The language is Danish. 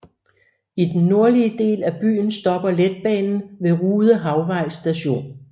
I den nordlige del af byen stopper letbanen ved Rude Havvej Station